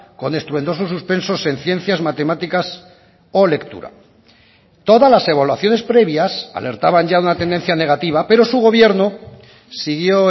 con estruendosos suspensos en ciencias matemáticas o lectura todas las evaluaciones previas alertaban ya una tendencia negativa pero su gobierno siguió